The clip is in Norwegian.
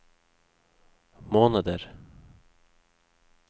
måneder